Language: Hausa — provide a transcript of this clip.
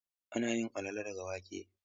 Ana yin alala daga wake.